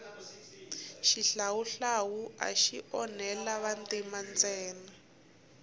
xihlawuhlawu axi onhela vantima ntsena